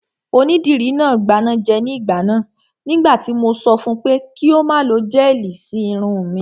Onídìrí náà gbanájẹ ní ìgbà náà nígbà tí mo sọ fun pé kí ó má lo gẹ́ẹ̀lì sí irun mi